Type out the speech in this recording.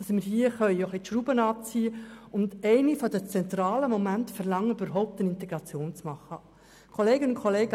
Als einer der zentralen Momente können wir somit etwas verlangen, damit eine Integration überhaupt gelingen kann.